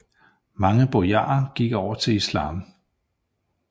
Mange bojarer gik over til islam